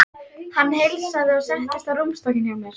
Hann heilsaði og settist á rúmstokkinn hjá mér.